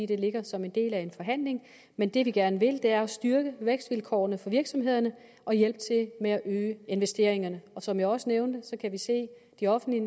det ligger som en del af en forhandling men det vi gerne vil er at styrke vækstvilkårene for virksomhederne og hjælpe til med at øge investeringerne som jeg også nævnte kan vi se at de offentlige